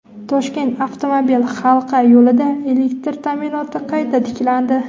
Toshkent avtomobil halqa yo‘lida elektr ta’minoti qayta tiklandi.